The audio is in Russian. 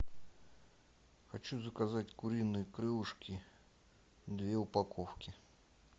хочу заказать куриные крылышки две упаковки